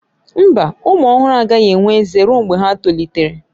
Mba, ụmụ ọhụrụ agaghị enwe ezé ruo mgbe ha tolitere